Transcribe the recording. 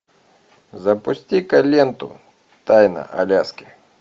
запусти ка ленту тайна аляски